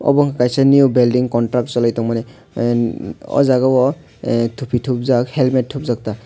obo wngkha kaisa new building contract choli tongmani o jaga o thupi thupjak helmet thupjakta.